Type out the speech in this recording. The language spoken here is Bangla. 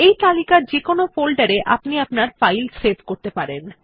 এই তালিকার যেকোনো ফোল্ডার এ আপনি আপনার ফাইল সেভ করতে পারেন